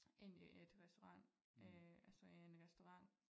Ind i et restaurant altså en restaurant